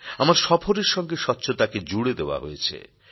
আমার সফরের সঙ্গে স্বচ্ছতাকে জুড়ে দেওয়া হয়েছে